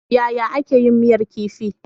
Yaya ake yin miyar kifi.